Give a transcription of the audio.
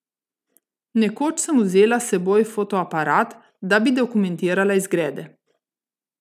Nekoč sem vzela s seboj fotoaparat, da bi dokumentirala izgrede.